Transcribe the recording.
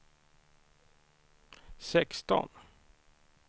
sexton